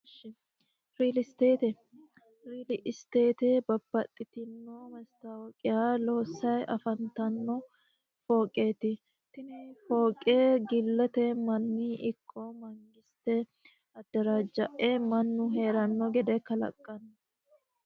Really stata. really state babbaxittino maasitawoqiya loosanni afannittano fooqetti tine fooqe gillete Mani ikko manigisite adarajae mannu Heerano gede kalaqano